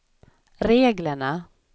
reglerna